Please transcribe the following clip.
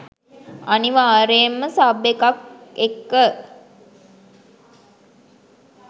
අනිවාර්යෙන්ම සබ් එකත් එක්ක